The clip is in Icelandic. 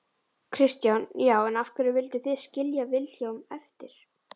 Kristján: Já, en af hverju vildu þið skilja Vilhjálm eftir?